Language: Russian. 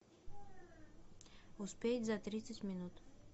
успеть за тридцать минут